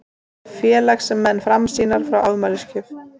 Félagsmenn Framsýnar fá afmælisgjöf